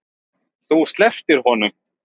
Þú slepptir honum.